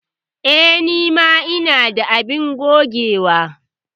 Eh, ni ma ina da abin gogewa.